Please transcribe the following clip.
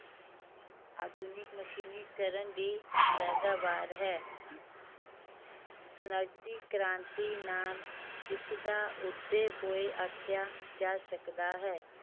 ਆਧੁਨਿਕ ਮਸ਼ੀਨੀਕਰਨ ਦੀ ਪੈਦਾਵਾਰ ਹੈ ਕ੍ਰਾਂਤੀ ਨਾਲ ਇਸਦਾ ਉਦਯ ਹੋਏ ਆਖਿਆ ਜਾ ਸਕਦਾ ਹੈ।